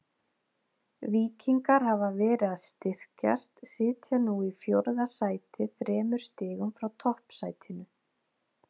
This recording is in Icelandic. Víkingar hafa verið að styrkjast, sitja nú í fjórða sæti þremur stigum frá toppsætinu.